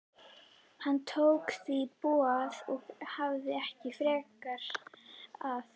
Hann tók því boði og hafðist ekki frekar að.